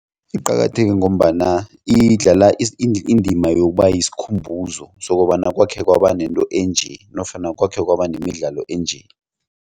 Iqakatheke ngombana idlala indima yokuba yisikhumbuzo sokobana kwakhe kwaba nento enje nofana kwakhe kwaba nemidlalo enje.